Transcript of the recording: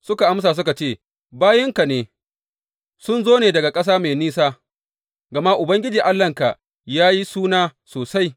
Suka amsa suka ce, Bayinka sun zo ne daga ƙasa mai nisa gama Ubangiji Allahnka ya yi suna sosai.